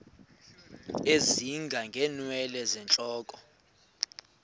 ezinga ngeenwele zentloko